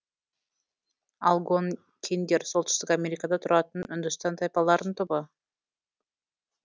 алгонкиндер солтүстік америкада тұратын үндіс тайпаларының тобы